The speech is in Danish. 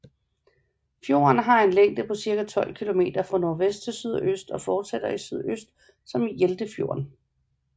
Fjorden har en længde på cirka 12 kilometer fra nordvest til sydøst og fortsætter i sydøst som Hjeltefjorden